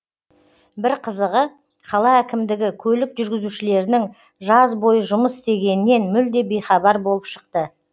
бір қызығы қала әкімдігі көлік жүргізушілерінің жаз бойы жұмыс істегенінен мүлде бейхабар болып шықты